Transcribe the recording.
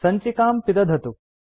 सञ्चिकां पिदधतु